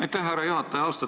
Aitäh, härra juhataja!